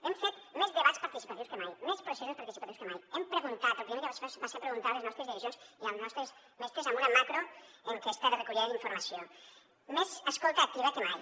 hem fet més debats participatius que mai més processos parti·cipatius que mai hem preguntat lo primer que vaig fer va ser preguntar a les nos·tres direccions i als nostres mestres amb una macroenquesta de recollida d’informa·ció més escolta activa que mai